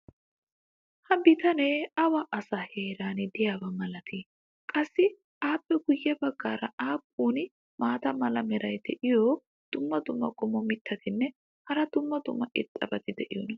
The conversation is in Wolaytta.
ha bitanee awa asaa heeran diyaaba malatii? qassi appe guye bagaara aappun maata mala meray diyo dumma dumma qommo mitattinne hara dumma dumma irxxabati de'iyoonaa?